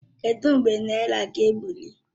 Kedụ mgbe naira ga-ebuli?